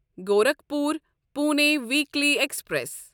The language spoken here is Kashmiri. Gorakhpur Pune weekly express